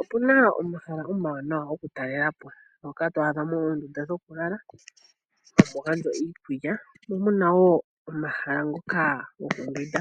Opuna omahala omawanawa goku talelapo ngoka to adha mo oondunda dhoku lala hamu gandjwa iikulya mo muna woo omahala ngoka gokumbwinda .